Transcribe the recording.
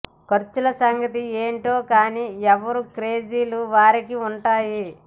ఖర్చుల సంగతి ఏంటో కానీ ఎవరి క్రేజీలు వారికి ఉంటాయి